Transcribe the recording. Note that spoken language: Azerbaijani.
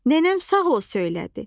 Nənəm sağ ol söylədi.